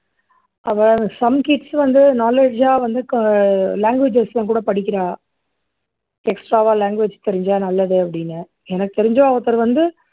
அவா some kids வந்து knowledge ஆ வந்து க languages எல்லாம் கூட படிக்கிறா extra வா languages தெரிஞ்சா நல்லது அப்படின்னு எனக்கு தெரிஞ்சு ஒருத்தர் வந்து